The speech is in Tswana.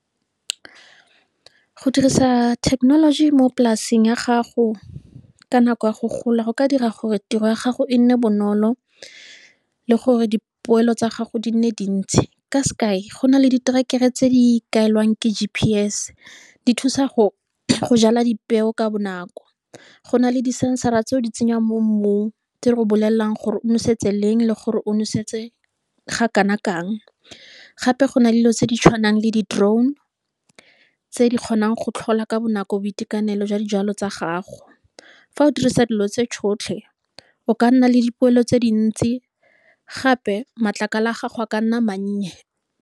Go dirisa thekenoloji mo polaseng ya gago ka nako ya go gola, go ka dira gore tiro ya gago e nne bonolo le gore dipoelo tsa gago di nne dintsi, ka sekai go na le diterekere tse di ikaelang ke G_P_S di thusa go jala dipeo ka bonako. Go na le di sensara tseo di tsenyang mo mmung, tse re bolelelang gore o noseditse leng le gore o nosetse ga kanakang. Gape go na dilo tse di tshwanang le di-drone tse di kgonang go tlhola ka bonako boitekanelo jwa dijalo tsa gago. Fa o dirisa dilo tse tsotlhe o ka nna le dipoelo tse dintsi gape matlakala a gago a ka nna mannye.